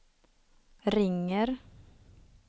ringer